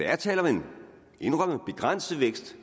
er tale om en indrømmet begrænset vækst